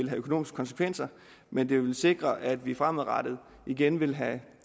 have økonomiske konsekvenser men det vil sikre at vi fremadrettet igen vil have